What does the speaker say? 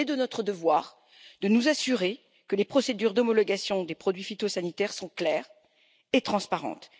Il est de notre devoir de nous assurer que les procédures d'homologation des produits phytosanitaires sont claires et transparentes.